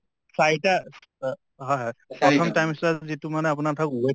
চাৰিটা অ হয় হয় প্ৰথম trimester ত যিটো মানে আপোনাৰ ধৰক weight